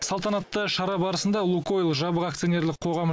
салтанатты шара барысында лукойл жабық акционерлік қоғамы